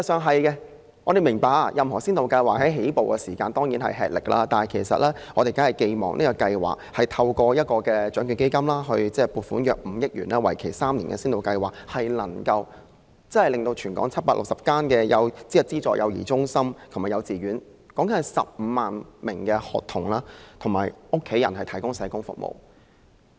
當然，我們明白任何先導計劃在起步時均困難重重，但我們寄望這個透過獎券基金撥款5億元、為期3年的先導計劃，能為全港760間資助幼兒中心及幼稚園約15萬名學童及家人提供社工服務。